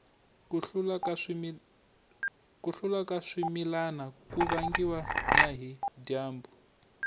ku hluka ka swimilana ku vangiwa na hi dyambu